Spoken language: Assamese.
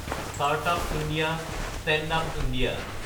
startup India, stand up India